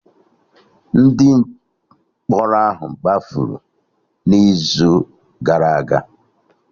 Ndị mkpọrọ gbafuru n'izu gara aga